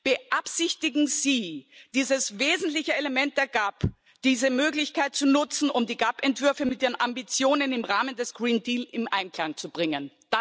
Beabsichtigen Sie, dieses wesentliche Element der GAP, diese Möglichkeit zu nutzen, um die GAP Entwürfe mit den Ambitionen im Rahmen des Green Deal in Einklang zu bringen?